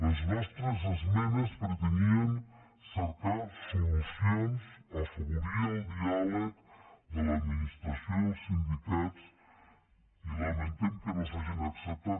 les nostres esmenes pretenien cercar solucions afavorir el diàleg de l’administració i els sindicats i lamentem que no s’hagin acceptat